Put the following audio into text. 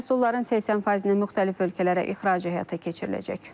Məhsulların 80%-i müxtəlif ölkələrə ixrac həyata keçiriləcək.